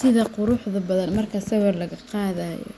Sidaa quruxda badan marka sawir laga qaadayo